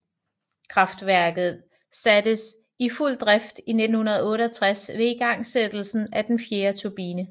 Kraftværket sattes i fuld drift i 1968 ved igangsættelsen af den fjerde turbine